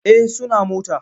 Eh suna mota.